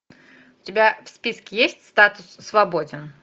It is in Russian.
у тебя в списке есть статус свободен